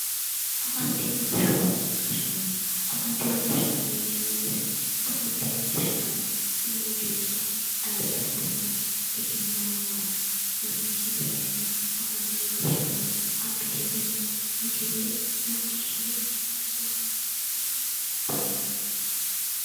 Afantino gashshaano afantino gashshaano yineemmo woyiite afantino gashshaano lowo geeshsha ayiirradotenna egennaammamho hakkiichino sa"enna afantino gashshaano abbiteyoorenna yitewoore macciishshine loosu aana hosiisa hassiissanno